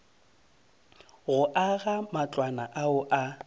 go aga matlwana ao a